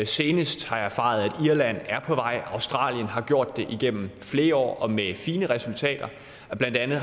senest har jeg erfaret at irland er på vej i australien har man gjort det igennem flere år og med fine resultater blandt andet